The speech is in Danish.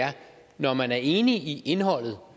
er at når man er enig i indholdet